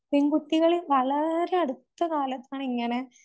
പെൺകുട്ടികള് വളരെ അടുത്ത കാലത്താണ് ഇങ്ങനെ